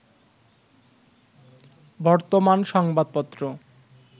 বর্তমান সংবাদপত্র